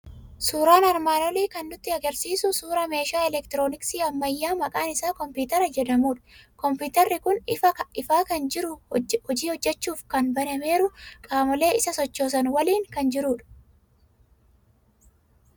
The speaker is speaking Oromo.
Suuraan armaan olii kan inni nutti argisiisu suuraa meeshaa elektirooniksii ammayyaa maqaan isaa kompiitara jedhamudha. Kompiitarri kun ifaa kan jiru, hojii hojjechuuf jan banameeru, qaamolee isa sochoosan waliin kan jirudha.